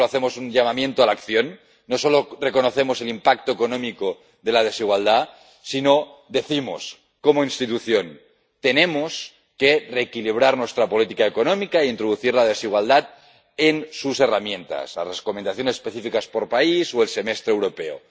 No solo hacemos un llamamiento a la acción, no solo reconocemos el impacto económico de la desigualdad, sino que, como institución, decimos que tenemos que reequilibrar nuestra política económica e introducir la desigualdad en sus herramientas —las recomendaciones específicas por país o el Semestre Europeo—.